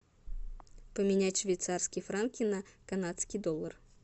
поменять швейцарские франки на канадский доллар